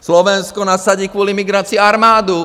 Slovensko nasadí kvůli migraci armádu.